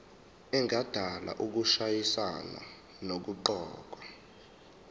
engadala ukushayisana nokuqokwa